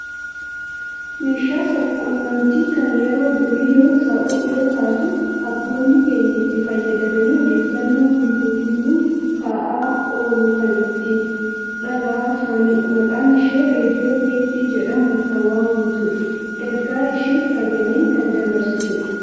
meeshaa sabquunnamtii kan yeroo durii yoo taatu abboonni keenya itti fayyadamanii odeeffannoo guyyuu guyyuun ta'aa oolu kan itti dhagahaa turanidha. maqaan ishee raadiyoo teephii jedhamuun kan waammamtudha. ergaa ishees sagaleen kan dabarsitudha.